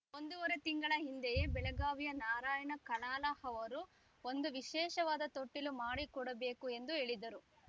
ಒಂದೂವರೆ ತಿಂಗಳ ಹಿಂದೆಯೇ ಬೆಳಗಾವಿಯ ನಾರಾಯಣ ಕಲಾಲ ಅವರು ಒಂದು ವಿಶೇಷವಾದ ತೊಟ್ಟಿಲು ಮಾಡಿಕೊಡಬೇಕು ಎಂದು ಹೇಳಿದರು